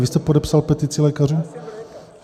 Vy jste podepsal petici lékařů?